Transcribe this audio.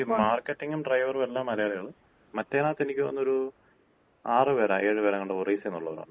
ഈ മാർക്കറ്റിംങ്ങും ഡ്രൈവറും എല്ലാം മലയാളികളും, മറ്റേതിനകത്ത് എനിക്ക് തോന്നുന്ന്, ഒര് ആറ് പേര ഏഴ് പേരാങ്കാണ്ട് ഒറീസേന്നൊള്ളവരാണ്.